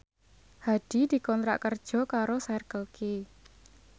Hadi dikontrak kerja karo Circle K